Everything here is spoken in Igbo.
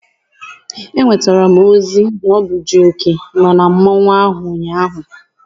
Enwetara m ozi na ọ bụ Jioke nọ na mmọnwụ ahụ ụnyaahụ.